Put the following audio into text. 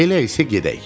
Elə isə gedək.